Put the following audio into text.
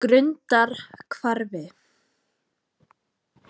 Grundarhvarfi